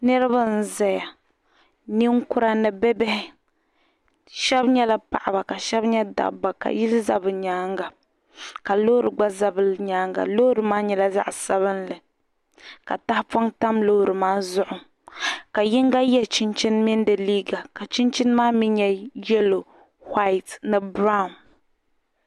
niriba n zaya ninkura ni bi bihi shab nyala baɣiba ka shebi nye dabba ka yili za bi nyaanga ka loori gba za bi nyaanga loori maa nyala zaɣi sabinli ka tahi pɔɣi tam loori maa zuhu ka yin go ye chinchini mini di yiiga ka chinchini maa mi nye yellow, white ni borrown